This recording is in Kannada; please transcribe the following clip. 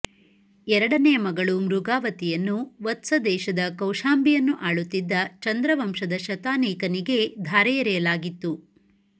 ಎರಡನೆಯ ಮಗಳು ಮೃಗಾವತಿಯನ್ನು ವತ್ಸದೇಶದ ಕೌಶಾಂಭಿಯನ್ನು ಆಳುತ್ತಿದ್ದ ಚಂದ್ರವಂಶದ ಶತಾನೀಕನಿಗೆ ಧಾರೆಯೆರೆಯಲಾಗಿತ್ತು